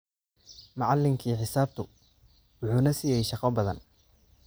Macallinkii xisaabtu wuxuu na siiyey shaqo badan